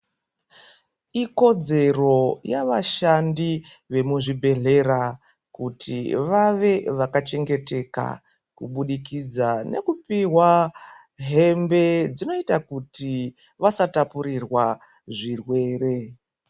Ikodzero yavashandi vemuzvibhedhlera kuti vave vakachengeteka kubudikidza nekupiwa hembe dzinoita kuti vasatapurirwa zvirwere.